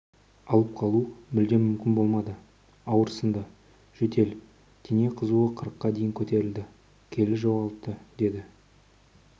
алып қалу мүлдем мүмкін болмады ауырсынды жөтел дене қызуы қырыққа дейін көтерілді келі жоғалтты деді